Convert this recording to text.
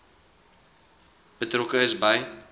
betrokke is by